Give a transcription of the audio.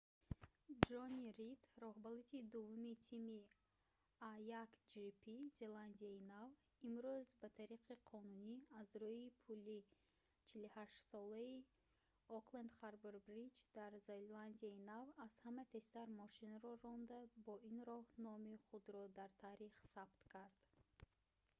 ҷонни рид роҳбалади дуввуми тими a1gp зеландияи нав имрӯз ба таври қонунӣ аз рӯи пули 48-солаи окленд харбор бриҷ дар зеландияи нав аз ҳама тезтар мошинро ронда бо ин роҳ номи худро дар таърих сабт кард